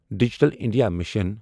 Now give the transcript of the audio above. digital India mission